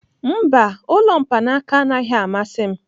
Mba, ụlọ mkpaanaka anaghị amasị m.